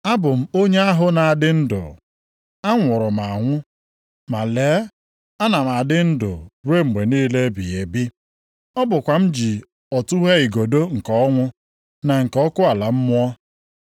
Abụ m onye ahụ na-adị ndụ. Anwụrụ m anwụ, ma lee, ana m adị ndụ ruo mgbe niile ebighị ebi. Ọ bụkwa m ji ọtụghe igodo nke ọnwụ na nke ọkụ ala mmụọ.